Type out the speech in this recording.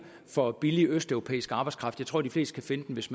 for billig østeuropæisk arbejdskraft men tror de fleste kan finde den hvis